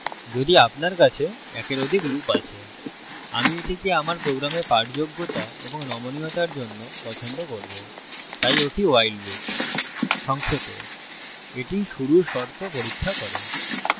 যদি আপনার কাছে একের অধিক loop আছে আমি এটিকে আমার program পাঠযোগ্যতা এবং নমনীয়তার জন্য পছন্দ করবো তাই ওটি while loop সংক্ষেপে এটি শুরুর শর্ত পরীক্ষা করে